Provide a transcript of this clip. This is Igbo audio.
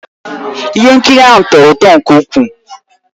Ihe nkiri ahụ tọrọ ụtọ nke ukwuu